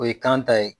O ye kan ta ye